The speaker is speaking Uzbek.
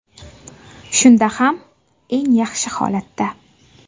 Shunda ham, eng yaxshi holatda.